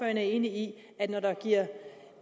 er enig i at når der